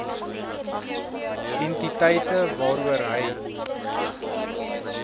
entiteite waaroor hy